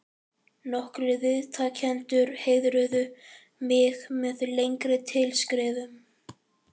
Nokkrir viðtakendur heiðruðu mig með lengri tilskrifum.